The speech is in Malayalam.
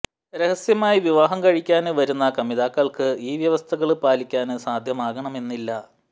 രഹസ്യമായി വിവാഹം കഴിക്കാന് വരുന്ന കമിതാക്കള്ക്ക് ഈ വ്യവസ്ഥകള് പാലിക്കാന് സാധ്യമാകണമെന്നില്ല